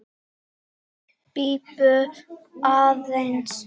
Bíddu aðeins